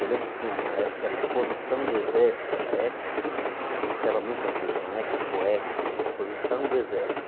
Eu lembro que tinha uma época que era a Exposição do Exército era, anunciava muito na televisão, Expo-Ex, é Exposição do Exército.